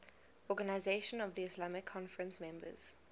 organisation of the islamic conference members